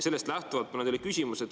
Sellest lähtuvalt on mul teile küsimus.